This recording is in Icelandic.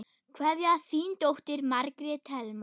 Kveðja, þín dóttir, Margrét Helma.